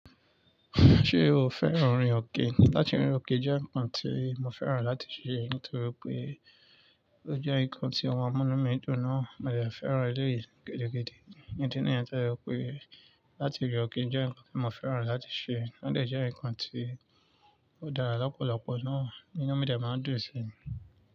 Ṣé o fẹ́ràn ìrìn ọ̀kẹ́? Láti rìn ọ̀kẹ́ jẹ́ ǹkan tí mo fẹ́ràn láti ṣè nítorí pé ó jẹ́ ǹkan tí máa ń mú inú mí dùn náà mo dẹ̀ fẹ́ràn eleèyí gidi gidi gan. Ìdí nìyẹn tó jẹ́ wípé láti rín ọ̀kẹ́ jẹ́ ǹkan tí mo fẹ́ràn láti ṣè, ó dẹ̀ jẹ́ ǹkan tí ó dára lọ́pọ̀lọpọ̀ náà inú mi dẹ̀ máa ń dùn sí.